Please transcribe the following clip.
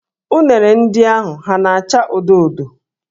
Unere ndị ahụ ha na-áchà odo odo?